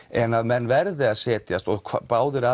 en að menn verði að setjast og